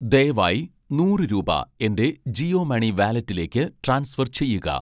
ദയവായി നൂറ് രൂപ എൻ്റെ ജിയോ മണി വാലറ്റിലേക്ക് ട്രാൻസ്ഫർ ചെയ്യുക